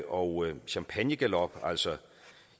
og champagnegalop altså